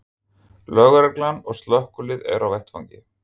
Lögreglan og slökkvilið eru á vettvangi